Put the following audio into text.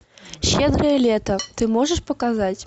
щедрое лето ты можешь показать